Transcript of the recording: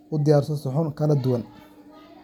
ah u dhaqaaqdo markaad digsi.